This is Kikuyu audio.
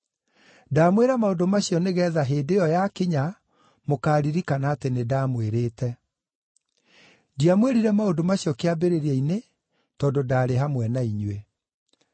Ndamwĩra maũndũ macio nĩgeetha hĩndĩ ĩyo yakinya mũkaaririkana atĩ nĩndamwĩrĩte. Ndiamwĩrire maũndũ macio kĩambĩrĩria-inĩ tondũ ndaarĩ hamwe na inyuĩ.